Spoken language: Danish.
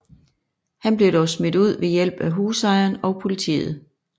Han blev dog smidt ud ved hjælp af husejeren og politiet